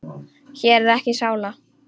Hér er ekki sála.